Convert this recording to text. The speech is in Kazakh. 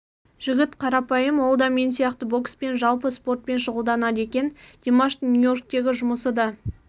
жігіт қарапайым ол да мен сияқты бокспен жалпы спортпен шұғылданады екен димаштың нью-йорктегі жұмысы да